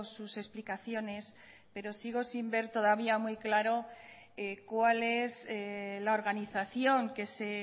sus explicaciones pero sigo sin ver todavía muy claro cuál es la organización que se